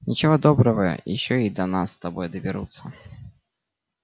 ничего доброго ещё и до нас с тобой доберутся